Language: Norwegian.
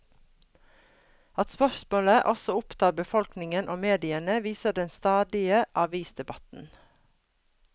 At spørsmålet også opptar befolkningen og mediene, viser den stadige avisdebatten.